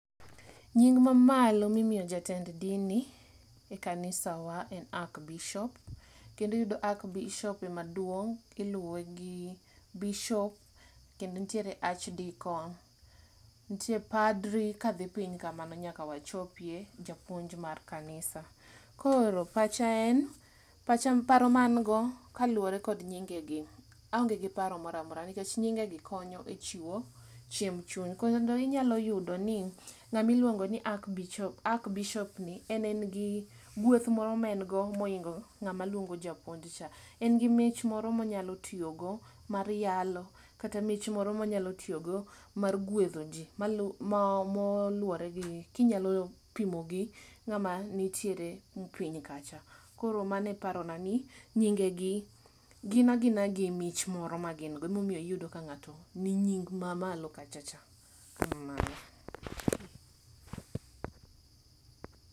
Nying mamalo mimiyo jotend dini e kanisa wa en Ak bishop, kendiyudo Ak bishop emaduong', iluwe gi bishop. Kendo nitiere Ach Dikon, ntie padri kadhi piny kamano nyaka wachopie japuonj mar kanisa. Koro pacha en, paro ma an go, kaluwore kod nyige gi aonge gi paro moramora nikech nyinge gi konyo e chiwo chiemb chuny. Kendo inyalo yudo ni ng'amiluongo ni Ak bishop ni en en gi gweth moro maen go moingo ng'ama luongo japuonj cha. En gi mich moro monyalo tiyogo mar yalo, kata mich moro monyalo tiyogo mar gwedho ji. Malu ma moluwore gi kinyalo pimo gi ng'ama nitiere piny kacha. Koro maneparona ni nyinge gi gin agina gi mich moro magin go. Emomiyo iyudo ka ng'ato ni nying ma malo kacha cha. Kamano.